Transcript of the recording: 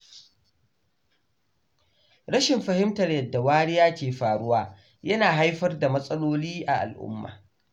Rashin fahimtar yadda wariya ke faruwa yana haifar da matsaloli a al’umma.